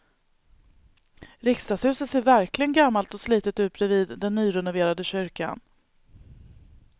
Riksdagshuset ser verkligen gammalt och slitet ut bredvid den nyrenoverade kyrkan.